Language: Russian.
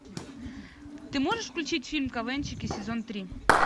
ты можешь включить фильм квнщики сезон три